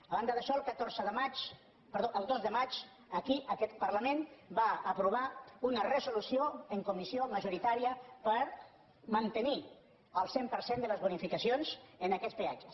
a banda d’això el dos de maig aquí aquest parlament va aprovar una resolució en comissió majoritària per mantenir el cent per cent de les bonificacions en aquests peatges